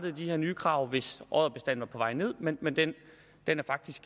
de her nye krav hvis odderbestanden var på vej ned men men den